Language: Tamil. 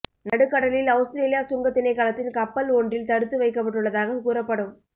நடுக்கடலில் அவுஸ்திரேலிய சுங்கத் திணைக்களத்தின் கப்பல் ஒன்றில் தடுத்து வைக்கப்பட்டுள்ளதாக கூறப்படும்